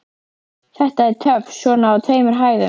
Þetta er töff svona á tveimur hæðum.